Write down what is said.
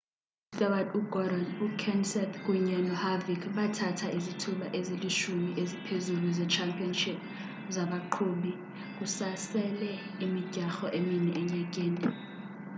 ustewart ugordon ukenseth kunye noharvick bathatha izithuba ezilishumi eziphezulu ze-championship zabaqhubi kusasele imidyarho emine enyakeni